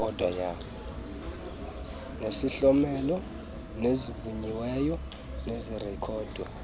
nezihlomelo ezivunyiweyo zirekhodwa